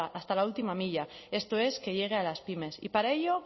hasta la última milla esto es que llegue a las pymes y para ello